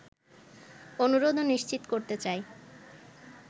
অনুরোধ ও নিশ্চিত করতে চাই